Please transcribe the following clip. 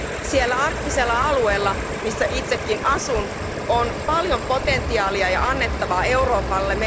Siellä arktisella alueella, missä itsekin asun, on paljon potentiaalia ja annettavaa Euroopalle.